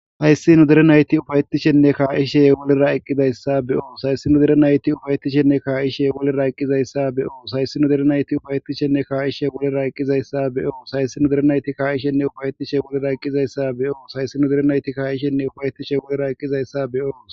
Hayssinu derenayti ufayetishenne kaa7ishe wolera eqqidayssa be7o sayssinu derenayti ufayetishenne kaa7ishe wolera eqqizayssa be7o sayssinu derenayti ufayetishenne kaa7ishe wolera eqqizayssa be7o sayssinu derenayti kaa7ishenne ufayetishe wolera eqqizayssa be7o sayssinu derenayti kaa7ishenne ufayetishe wolera eqqizayssa be7o.